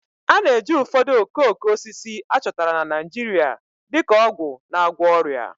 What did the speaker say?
A na-eji ụfọdụ okooko osisi a chọtara na Naijiria dị ka ọgwụ na-agwọ ọrịa